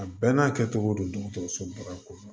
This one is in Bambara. A bɛɛ n'a kɛcogo don dɔgɔtɔrɔso ba kɔnɔ